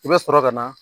I bɛ sɔrɔ ka na